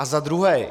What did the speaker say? A za druhé.